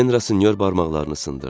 Etyen Rasinyor barmaqlarını sındırdı.